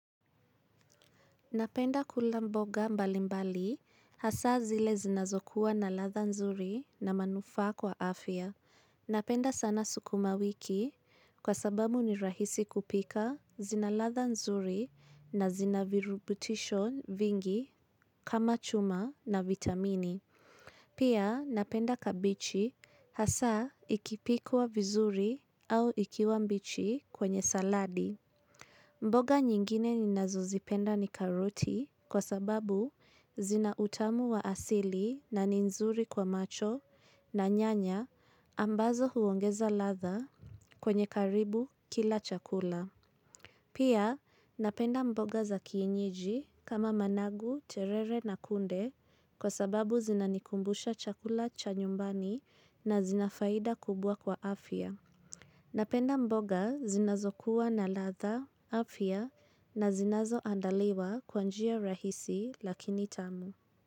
Napenda kula mboga mbali mbali hasa zile zinazokuwa na latha nzuri na manufaa kwa afya. Napenda sana sukuma wiki kwa sababu ni rahisi kupika zinalatha nzuri na zina virubutisho vingi kama chuma na vitamini. Pia napenda kabichi hasa ikipikwa vizuri au ikiwa mbichi kwenye saladi. Mboga nyingine ninazozipenda ni karoti kwa sababu zina utamu wa asili na ni nzuri kwa macho na nyanya ambazo huongeza latha kwenye karibu kila chakula. Pia napenda mboga za kienyeji kama managu, terere na kunde kwa sababu zinanikumbusha chakula cha nyumbani na zina faida kubwa kwa afya. Napenda mboga zinazokuwa na latha, afya na zinazoandaliwa kwa njia rahisi lakini tamu.